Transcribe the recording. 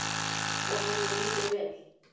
Og henni líður vel.